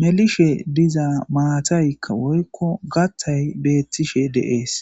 melishe diza maataykka woykko gattay beettishe deees